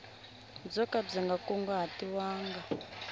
byo ka byi nga kunguhatiwanga